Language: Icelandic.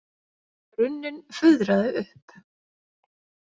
Runninn fuðraði upp.